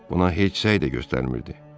Buna heç səy də göstərmirdi.